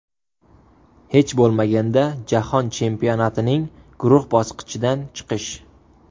Hech bo‘lmaganda Jahon chempionatining guruh bosqichidan chiqish.